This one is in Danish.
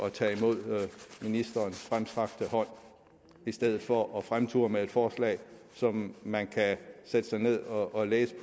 at tage imod ministerens fremstrakte hånd i stedet for at fremture med et forslag som man kan sætte sig ned og læse